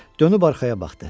Dönüb arxaya baxdı.